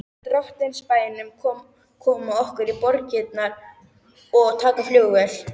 Drottins bænum koma okkur til borgarinnar og taka flugvél.